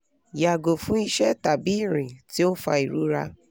yago fun ise tabi irin ti o n fa irora